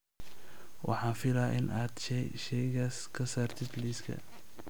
Waxaan filayaa in aad shaygaas ka saartid liiska